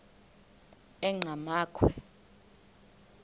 enqgamakhwe